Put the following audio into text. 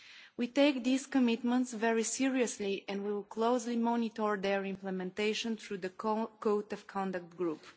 We take these commitments very seriously and we will closely monitor their implementation through the Code of Conduct Group.